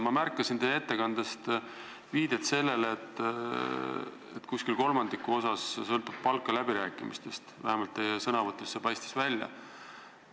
Ma märkasin teie ettekandes viidet sellele, et umbes kolmandik palgast sõltub läbirääkimistest, vähemalt teie sõnavõtust paistis nii välja.